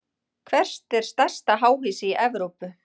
Hvert er stærsta háhýsi í Evrópu?